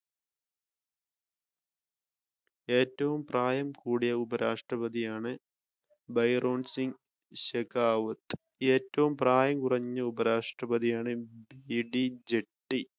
ഏറ്റവും പ്രായം കൂടിയ ഉപരാഷ്ട്രപതിയാണ് ഭൈരോൺസിന് ശകാവുത് ഏറ്റവും പ്രായം കുറഞ്ഞ ഉപരാഷ്ട്രപതിയാണ് ഇ ടി ജെട്ടി.